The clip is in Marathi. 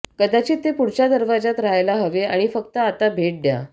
कदाचित ते पुढच्या दरवाज्यात रहायला हवे आणि फक्त आता भेट द्या